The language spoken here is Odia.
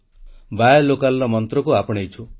ସ୍ଥାନୀୟ ଉତ୍ପାଦ କ୍ରୟ ମନ୍ତ୍ରକୁ ଆପଣେଇଛୁ